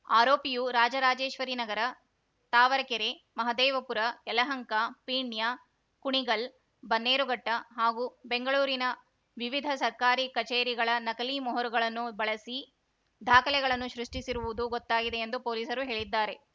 ಆರೋಪಿಯು ರಾಜರಾಜೇಶ್ವರಿ ನಗರ ತಾವರೆಕೆರೆ ಮಹದೇವಪುರ ಯಲಹಂಕ ಪೀಣ್ಯ ಕುಣಿಗಲ್‌ ಬನ್ನೇರುಘಟ್ಟಹಾಗೂ ಬೆಂಗಳೂರಿನ ವಿವಿಧ ಸರ್ಕಾರಿ ಕಚೇರಿಗಳ ನಕಲಿ ಮೊಹರುಗಳನ್ನು ಬಳಸಿ ದಾಖಲೆಗಳನ್ನು ಸೃಷ್ಟಿಸಿರುವುದು ಗೊತ್ತಾಗಿದೆ ಎಂದು ಪೊಲೀಸರು ಹೇಳಿದ್ದಾರೆ